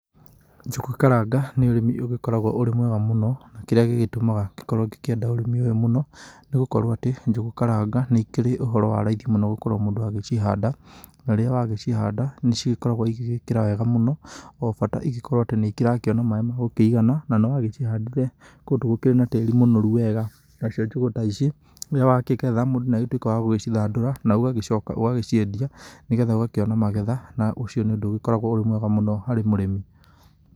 Njũgũ karanga nĩ ũrĩmi ũgĩkoragwo ũrĩ mwega mũno, na kĩrĩa gĩgĩtũmaga ngĩkorwo ngĩenda ũrĩmi ũyũ mũno nĩ gũkorwo atĩ njũgũ karanga nĩ ikĩrĩ ũhoro wa raithi mũno gũkorwo mũndũ agĩcihanda na rĩrĩa wagĩcihanda, nĩ cigĩkoragwo igĩgĩkĩra wega mũno o bata ikorwo atĩ nĩ irakíona maĩ ma gũkĩigana na nĩwagĩcihandire kũndũ gũkĩrĩ na tĩri mũnoru wega, nacio njũgũ ta ici, rĩrĩa wakĩgetha mũndũ nĩ atuĩkaga wa gũcithandũra na ũgagĩcoka ũgagĩciendia nĩgetha ũgakĩona magetha na ũcio nĩ ũndũ ũgĩkoragwo ũrĩ mwega mũno harĩ mũrĩmi.